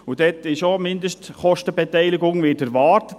Dort wird eine Mindestkostenbeteiligung erwartet.